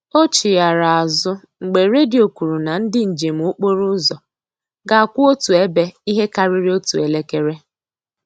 O chighara azụ mgbe redio kwuru na ndị njem okporo ụzọ ga-akwụ otu ebe ihe karịrị otu elekere